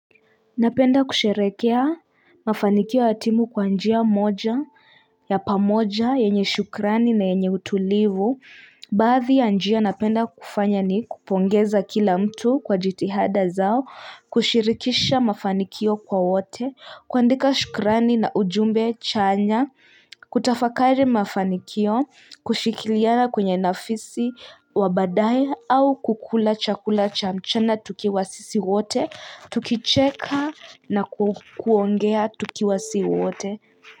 Napenda kusherehekea mafanikio ya timu kwa njia moja, ya pamoja, yenye shukrani na yenye utulivu. Baadhi ya njia napenda kufanya ni kupongeza kila mtu kwa jitihada zao, kushirikisha mafanikio kwa wote, kuandika shukrani na ujumbe chanya, kutafakari mafanikio, kushikiliana kwenye nafisi wa baadae au kukula chakula cha mchana tukiwa sisi wote, Tukicheka na kuongea tukiwa si wote.